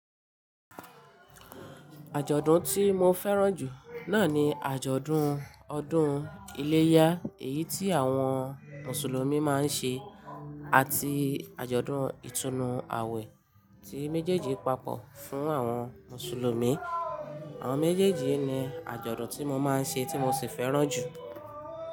Àjọ̀dún tí mo fẹ́ràn jù náà ni àjọ̀dún ọdún iléyá èyí tí àwọn Mùsùlùmí máa ń ṣe àti àjọ̀dún ìtúnu àwẹ̀ tí méjèèjì papọ̀ fún àwọn Mùsùlùmí. Àwọn méjèèjì ni àjọ̀dún tí mo máa ń ṣe tí mo sì fẹ́ràn jù.